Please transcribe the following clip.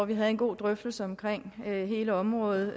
vi havde en god drøftelse af hele området og